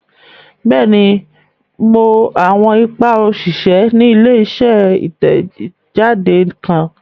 Bẹẹni, Mo awọn ipa oṣiṣẹ ní ile-iṣẹ titẹjade kan